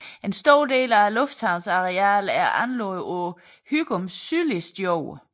En stor del af lufthavnens arealer er anlagt på Hygums sydligste jord